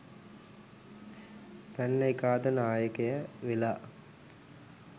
පැන්න එකා අද නායකය වෙලා.